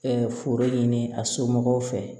foro ɲini a somɔgɔw fɛ